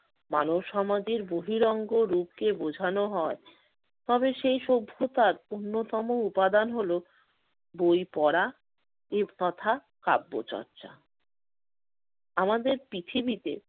মানব সমাজের বহিরঙ্গ রূপকে বোঝানো হয় তবে সেই সভ্যতার অন্যতম উপাদান হলো বই পড়া এব তথা কাব্যচর্চা। আমাদের পৃথিবীতে